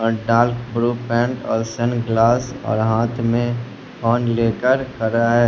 और sun glass और हाथ में फोन लेकर खड़ा है।